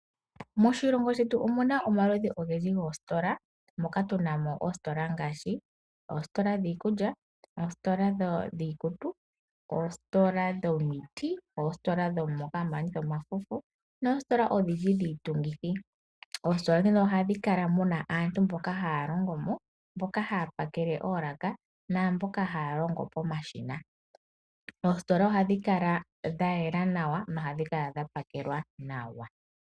Moshi shetu omuna omaludhi ogendji goositola moka tunamo oositola ngaashi oositola dhiikulya ,oositola dhiikutu oshowo oositola dhomiti, oositola dho noositola odhindji dhiitungithi . Ohamu kala muna aantu mboka haya longomo mboka haya pakele oolaka naambono haya longo pomashina. Oositola ohadhi kala dha yela nawa dho ohadhi kala dha pakelwa nawa.